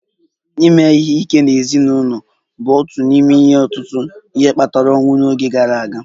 Ime ihe ike n'ezinụlọ bụ otu n'ime ọtụtụ ihe kpatara ọnwụ n'oge gara aga